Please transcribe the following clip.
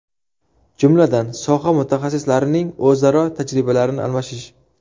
Jumladan, soha mutaxassislarining o‘zaro tajribalarini almashish.